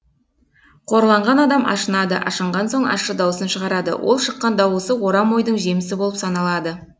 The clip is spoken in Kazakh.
қорланған адам ашынады ашынған соң ащы дауысын шығарады ол шыққан дауысы орам ойдың жемісі болып саналады